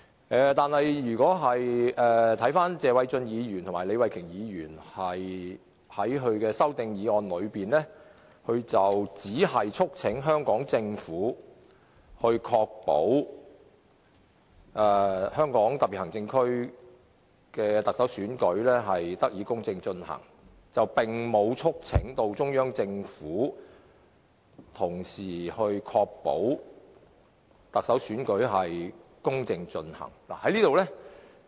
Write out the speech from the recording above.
但是，謝偉俊議員和李慧琼議員在他們的修正案中，只是促請香港政府確保香港特別行政區的特首選舉得以公正進行，並沒有同時促請中央政府這樣做。